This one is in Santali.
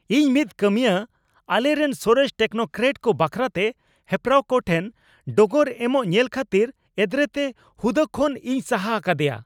ᱤᱧ ᱢᱤᱫ ᱠᱟᱹᱢᱤᱭᱟᱹ ᱟᱞᱮᱨᱮᱱ ᱥᱚᱨᱮᱥ ᱴᱮᱠᱱᱳᱠᱨᱮᱴ ᱠᱚ ᱵᱟᱠᱷᱨᱟᱛᱮ ᱦᱮᱯᱨᱟᱣ ᱠᱚ ᱴᱷᱮᱱ ᱰᱚᱜᱚᱨ ᱮᱢᱚᱜ ᱧᱮᱞ ᱠᱷᱟᱹᱛᱤᱨ ᱮᱫᱽᱨᱮᱛᱮ ᱦᱩᱫᱟᱹ ᱠᱷᱚᱱ ᱤᱧ ᱥᱟᱦᱟ ᱟᱠᱟᱫᱮᱭᱟ ᱾